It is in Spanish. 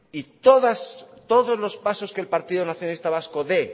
y todos los pasos que el partido nacionalista vasco dé